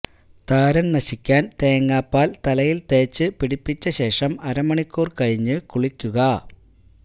താരന് നശിക്കാന് തേങ്ങാപ്പാല് തലയില് തേച്ച് പിടിപ്പിച്ചശേഷം അര മണിക്കൂര് കഴിഞ്ഞ് കുളിക്കുക